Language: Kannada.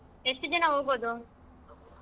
ಎಷ್ಟ್ ಜನಾ ಹೋಗೋದು?